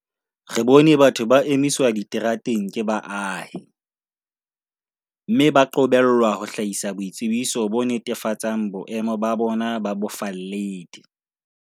Re bone batho ba emiswa diterateng ke baahi, mme ba qobellwa ho hlahisa boitsebiso bo netefatsang boemo ba bona ba bofalledi.